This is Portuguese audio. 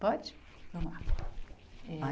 Pode? Vamos lá, eh